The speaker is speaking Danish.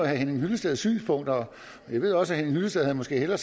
herre henning hyllesteds synspunkter og jeg ved også henning hyllested måske hellere